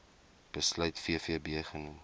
besluit vvb genoem